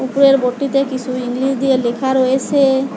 উপরের বোর্ডটিতে কিসু ইংলিশ দিয়ে লেখা রয়েসে।